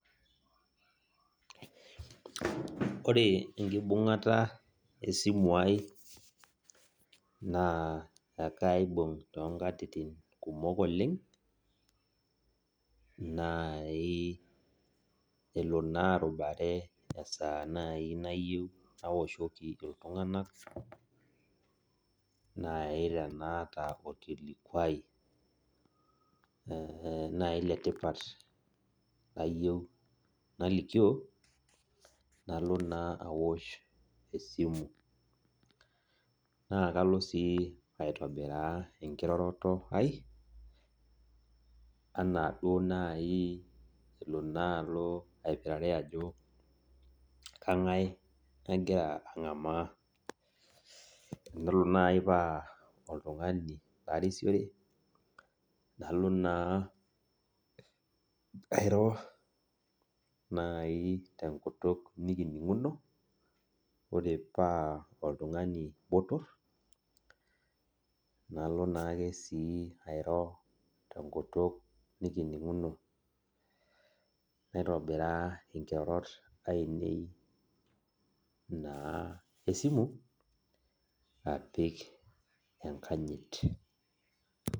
Ore enkibung'ata esimu ai, naa ekaibung' tonkatitin kumok oleng, nai elo naa arubare esaa nai nayieu nawoshoki iltung'anak, nai tenaata orkilikwai nai letipat layieu nalikio, nalo naa awosh esimu. Na kalo si aitobiraa enkiroroto ai, anaa duo nai elo naalo aipirare ajo kang'ae agira ang'amaa. Enelo nai paa oltung'ani larisiore, nalo naa airo nai tenkutuk nikining'uno, ore paa oltung'ani botor, nalo naake si airo tenkutuk nikining'uno. Naitobiraa inkirorot ainei naa esimu, apik enkanyit.